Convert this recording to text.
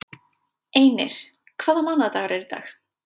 Einir, hvaða mánaðardagur er í dag?